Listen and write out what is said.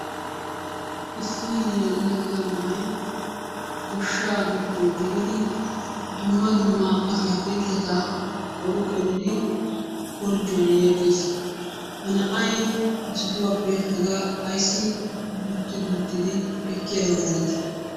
Issi yelaga na'ay goshshaa giddo gelidi dumma dumma ataakkiltteta qori qoridi korjjuwan yeggees. Ha na'ay ha sohuwappe hagaa ayssi dutti duuttidi ekkiyaba malati?